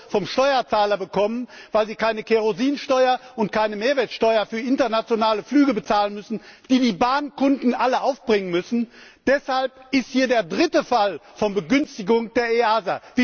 EUR vom Steuerzahler bekommen, weil sie keine Kerosinsteuer und keine Mehrwertsteuer für internationale Flüge bezahlen müssen, die die Bahnkunden alle aufbringen müssen, deshalb haben wir hier den dritten Fall von Begünstigung der EASA.